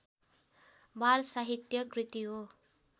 बालसाहित्य कृति हो